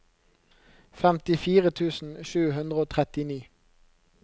femtifire tusen sju hundre og trettini